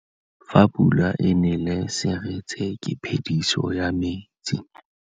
Fa pula e nelê serêtsê ke phêdisô ya metsi.